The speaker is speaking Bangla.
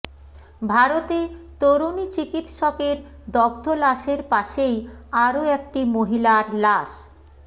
ভারতে তরুণী চিকিৎসকের দগ্ধ লাশের পাশেই আরও একটি মহিলার লাশ